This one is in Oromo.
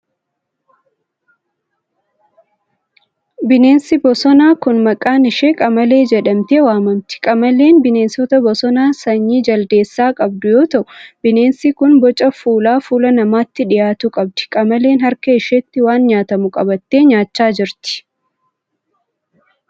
Bineensi bosonaa kun, maqaan ishee qamalee jedhamtee waamamti. Qamaleen bineensa bosonaa sanyii jaldeessaa qabdu yoo ta'u, bineensi kun boca fuulaa fuula namaatti dhihaatu qabdi. Qamaleen harka isheetti waan nyaatamu qabattee nyaachaa jirti.